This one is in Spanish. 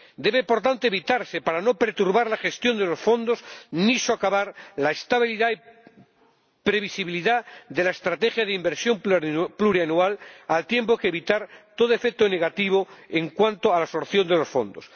Debe, por tanto, evitarse para no perturbar la gestión de los fondos, ni socavar la estabilidad y previsibilidad de la estrategia de inversión plurianual, al tiempo que para evitar todo efecto negativo en cuanto a la absorción de los fondos.